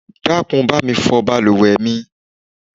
Dákun bá mi fọ bàlùwẹ̀ mi.